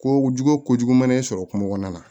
Ko jugu kojugu mana e sɔrɔ kungo kɔnɔna na